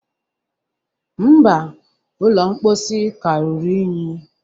Mba, ụlọ mposi ka ruru unyi